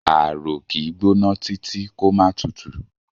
Ààrò kì í gbóná títí kó máà tutù.